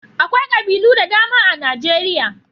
Akwai ƙabilu da dama a Najeriya.